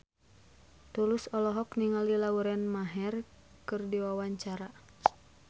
Tulus olohok ningali Lauren Maher keur diwawancara